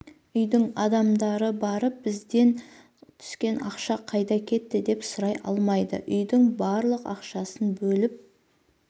үйдік адамдары барып бізден түскен ақша қайда кетті деп сұрай алмайды үйдің барлық ақшасын бөліп